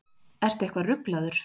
Ertu eitthvað ruglaður?